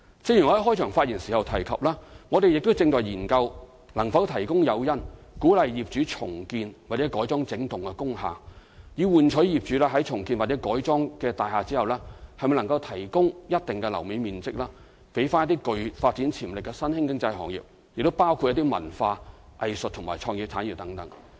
正如我在開場發言時提及，我們正研究能否提供誘因，鼓勵業主重建或改裝整幢工廈，以換取業主於重建或改裝後的大廈提供一定樓面面積予具發展潛力的新興經濟行業，包括文化、藝術及創意產業等。